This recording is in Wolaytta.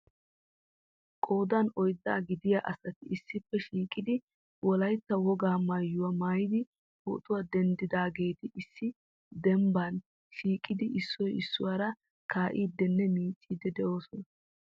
Qoodan oydda gidiyaa asati issippe shiiqidi Wolaytta wogaa maayyuwaa maayyidi pootuwaa denddidaageti issi dembban shiiqidi issoy issuwaara kaa'idinne miiccidi de'oosona.